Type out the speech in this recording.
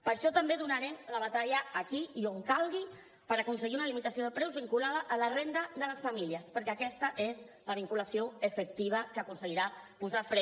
per això també donarem la batalla aquí i on calgui per aconseguir una limitació de preus vinculada a la renda de les famílies perquè aquesta és la vinculació efectiva que aconseguirà posar fre